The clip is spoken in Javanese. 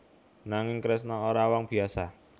Nanging Kresna ora wong biyasa